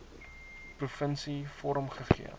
provinsie vorm gegee